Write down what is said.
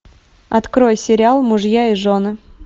открой сериал мужья и жены